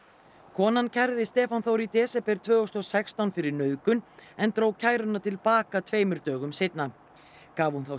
konan kærði Stefán Þór í desember tvö þúsund og sextán fyrir nauðgun en dró kæruna til baka tveimur dögur seinna gaf hún þá